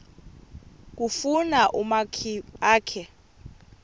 kufuna umakhi akhe